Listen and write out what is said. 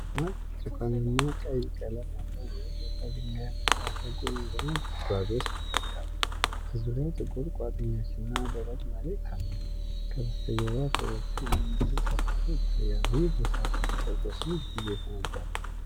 ደማቅ ብርቱካንማና ቀይ ቀለም ያለው የቀለጠ ድንጋይ በእሳተ ገሞራ ጉድጓድ ውስጥ ይፈልቃል። በዙሪያው ጥቁር ቋጥኞችና ደረቅ መሬት አለ፤ ከበስተጀርባ ኮረብታ የሚመስል ከፍታ ይታያል። ይህ ቦታ በተፈጥሮ ስንት ጊዜ ይፈነዳል?